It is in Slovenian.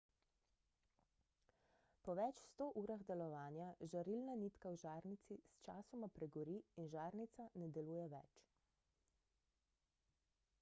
po več sto urah delovanja žarilna nitka v žarnici sčasoma pregori in žarnica ne deluje več